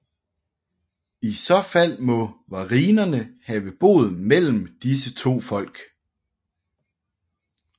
I så fald må varinerne have boet mellem disse to folk